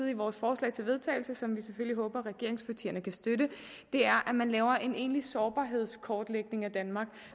i vores forslag til vedtagelse som vi selvfølgelig håber regeringspartierne kan støtte at man laver en egentlig sårbarhedskortlægning af danmark